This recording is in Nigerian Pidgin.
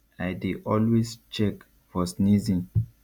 i dey always check for sneezing